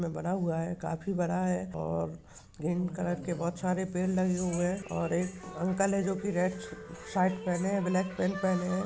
में बना हुआ हैं काफी बड़ा हैं और ग्रीन कलर के बहुत सारे पेड़ लगे हुए हैं और एक अंकल जो की रेड शर्ट ब्लाक पॅन्ट पहने है।